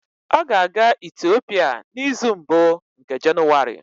Ọ ga-aga Itiopia n'izu mbụ nke Jenụwarị